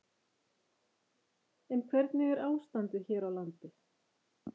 En hvernig er ástandið hér á landi?